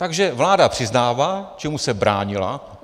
Takže vláda přiznává, čemu se bránila.